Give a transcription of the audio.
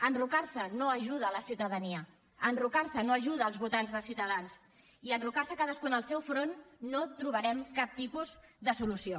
enrocar se no ajuda la ciutadania enrocar se no ajuda els votants de ciutadans i enrocant se cadascú en el seu front no trobarem cap tipus de solució